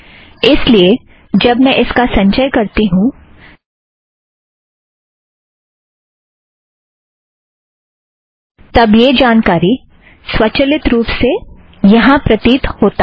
इस लिए जब मैं इसका संचय करती हूँ तब यह जानकारी स्वचालित रूप से यहाँ प्रतीत होता है